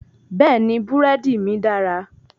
Bẹ́ẹ̀ni, búrẹ́dí mí dára.